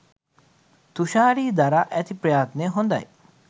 තුශාරි දරා ඇති ප්‍රයත්නය හොදයි.